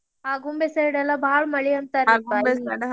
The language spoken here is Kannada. ಆಗುಂಬೆ side ಲ್ಲಾ ಬಾಳ ಮಳಿ ಅಂತಾರ್ರಿ .